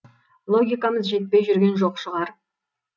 логикамыз жетпей жүрген жоқ шығар